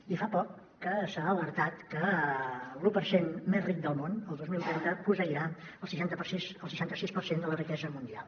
i fa poc que s’ha alertat que l’u per cent més ric del món el dos mil trenta posseirà el seixanta sis per cent de la riquesa mundial